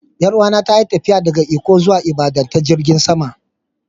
Yar uwa ta ta yi tafiya daga Ikko zuwa Ibadan ta jirigin sama.